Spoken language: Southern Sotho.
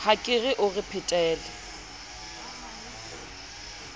a ke o re phetele